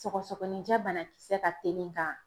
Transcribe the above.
Sɔgɔsɔgɔnijɛ banakisɛ ka teli ka.